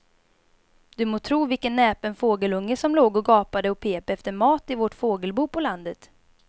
Du må tro vilken näpen fågelunge som låg och gapade och pep efter mat i vårt fågelbo på landet.